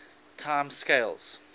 time scales